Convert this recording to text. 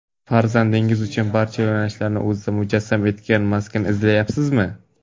Farzandingiz uchun barcha yo‘nalishlarni o‘zida mujassam etgan maskan izlayapsizmi?!.